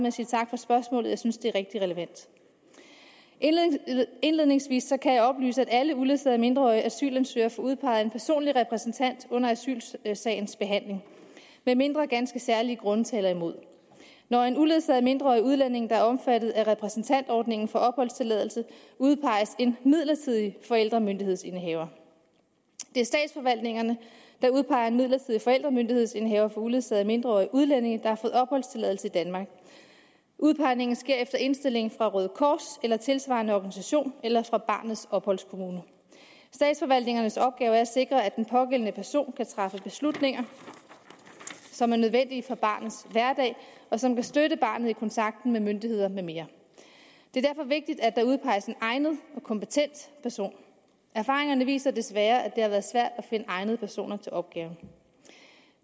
at sige tak for spørgsmålet jeg synes det er rigtig relevant indledningsvis kan jeg oplyse at alle uledsagede mindreårige asylansøgere får udpeget en personlig repræsentant under asylsagens behandling medmindre ganske særlige grunde taler imod når en uledsaget mindreårig udlænding der er omfattet af repræsentantordningen får opholdstilladelse udpeges en midlertidig forældremyndighedsindehaver det er statsforvaltningerne der udpeger den midlertidige forældremyndighedsindehaver for uledsagede mindreårige udlændinge der har fået opholdstilladelse i danmark udpegningen sker efter indstilling fra røde kors eller tilsvarende organisation eller fra barnets opholdskommune statsforvaltningernes opgave er at sikre at den pågældende person kan træffe beslutninger som er nødvendige for barnets hverdag og som vil støtte barnet i kontakt med myndighederne med mere det er derfor vigtigt at der udpeges en egnet og kompetent person erfaringerne viser desværre at det har været svært at finde egnede personer til opgaven